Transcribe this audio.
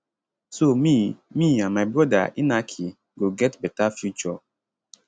so me me and my brother inaki go get beta future